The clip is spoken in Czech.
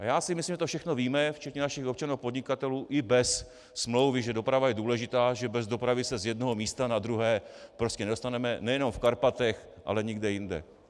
A já si myslím, že to všechno víme, včetně našich občanů a podnikatelů, i bez smlouvy, že doprava je důležitá, že bez dopravy se z jednoho místa na druhé prostě nedostaneme nejenom v Karpatech, ale nikde jinde.